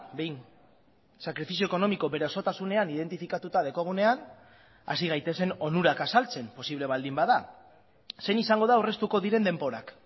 behin sakrifizio ekonomiko bere osotasunean identifikatuta daukagunean hasi gaitezen onurak azaltzen posible baldin bada zein izango da aurreztuko diren denborak